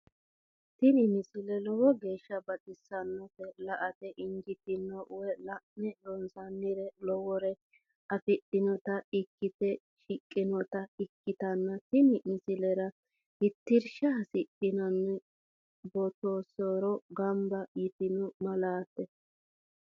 tini misile lowo geeshsha baxissannote la"ate injiitanno woy la'ne ronsannire lowore afidhinota ikkite shiqqinota ikkitanna tini misilera tittirsha hasidhanno beettoteaassora gamba yitino maateeti.